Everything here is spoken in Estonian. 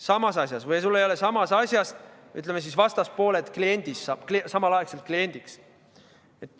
Samas asjas või siis, ütleme, vastaspoole kliendist saab samal ajal sinu klient.